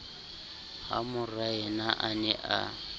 ha morayena a ne a